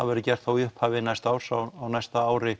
verður gert í upphafi næsta árs á næsta ári